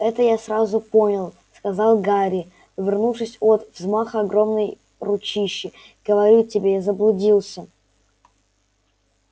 это я сразу понял сказал гарри увернувшись от взмаха огромной ручищи говорю тебе я заблудился